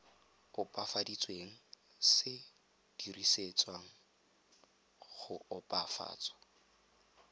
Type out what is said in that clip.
opafaditsweng se dirisetswa go opafatsa